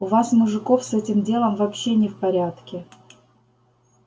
у вас мужиков с этим делом вообще не в порядке